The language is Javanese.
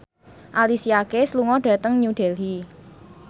Alicia Keys lunga dhateng New Delhi